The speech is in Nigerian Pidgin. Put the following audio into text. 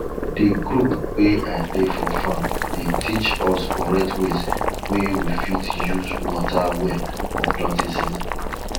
di group wey i dey for farm dey teach us correct ways wey we fit use water well for planting season